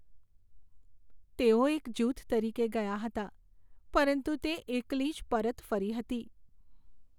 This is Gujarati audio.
તેઓ એક જૂથ તરીકે ગયા હતા પરંતુ તે એકલી જ પરત ફરી હતી.